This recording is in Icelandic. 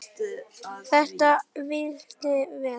Þetta vitum við.